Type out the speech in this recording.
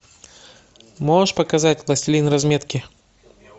можешь показать властелин разметки